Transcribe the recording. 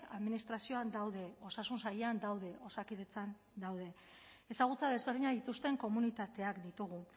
administrazioan daude osasun sailean daude osakidetzan daude ezagutza desberdinak dituzten komunitateak ditugu